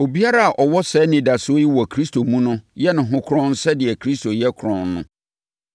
Obiara a ɔwɔ saa anidasoɔ yi wɔ Kristo mu no yɛ ne ho kronn sɛdeɛ Kristo yɛ kronn no.